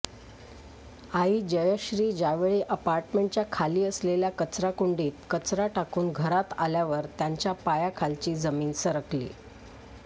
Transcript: आई जयश्री ज्यावेळी अपार्टमेंटच्या खाली असलेल्या कचराकुंडीत कचरा टाकून घरात आल्यावर त्यांच्या पायाखालची जमीन सरकली